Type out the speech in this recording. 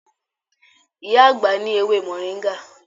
Iya agba ni ewe moringa